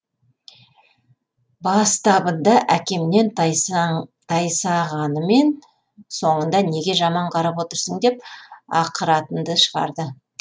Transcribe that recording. бастабында әкемнен тайсағанымен соңында неге жаман қарап отырсың деп ақыратынды шығарды